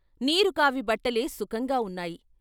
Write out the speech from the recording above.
నీరు కావి బట్టలే సుఖంగా వున్నాయి.